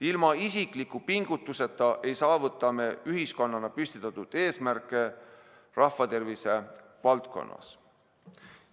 Ilma isikliku pingutuseta ei saavuta me ühiskonnana püstitatud eesmärke rahvatervise valdkonnas.